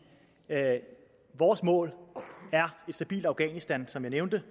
at vores mål er et stabilt afghanistan som jeg nævnte